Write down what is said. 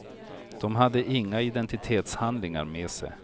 De hade inga identitetshandlingar med sig.